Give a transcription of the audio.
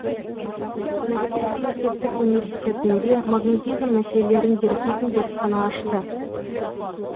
мәскеу мемлекеттік университетінде магнетизм мәселелерін зерттейтін зертхана ашты